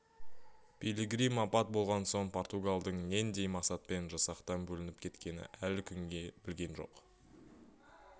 пилигрим апат болған соң португалдың нендей мақсатпен жасақтан бөлініп кеткенін әлі күнге білген жоқ